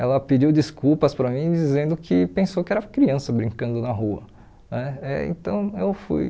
Ela pediu desculpas para mim dizendo que pensou que era criança brincando na rua né. Eh então eu fui